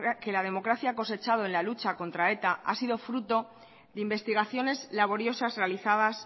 que la democracia ha cosechado en la lucha contra eta ha sido fruto de investigaciones laboriosas realizadas